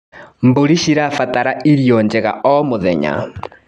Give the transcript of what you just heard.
Mbũrĩ cirabatara irio njega o mũthenya.